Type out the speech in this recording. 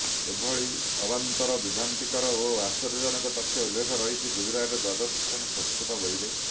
ଏଭଳି ଅବାନ୍ତର ବିଭ୍ରାନ୍ତିକର ଓ ଆଶ୍ଚର୍ଯ୍ୟଜନକ ତଥ୍ୟ ଉଲ୍ଲେଖ ରହିଛି ଗୁଜରାଟର ଦ୍ୱାଦଶ ଶ୍ରେଣୀ ସଂସ୍କୃତ ବହିରେ